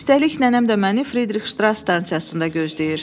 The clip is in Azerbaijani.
Üstəlik nənəm də məni Fridrix Ştras stansiyasında gözləyir.